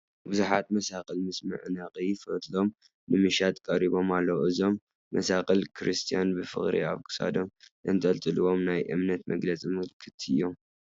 ብዙሓት መሳቕል ምስ መዕነቒ ፈትሎም ንመሸጣ ቀሪቦም ኣለዉ፡፡ እዞም መሳቕል ክርስቲያን ብፍቕሪ ኣብ ክሳዶም ዘንጠልጥልዎም ናይ እምነቶም መግለፂ ምልክት እዮም፡፡